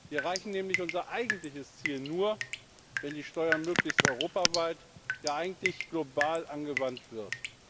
Wir erreichen nämlich unser eigentliches Ziel nur, wenn die Steuer möglichst europaweit, ja eigentlich global angewandt wird.